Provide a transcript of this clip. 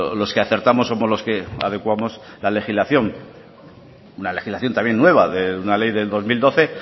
los que acertamos somos los que adecuamos la legislación una legislación también nueva una ley del dos mil doce